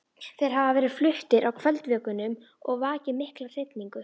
Þeir hafa verið fluttir á kvöldvökunum og vakið mikla hrifningu.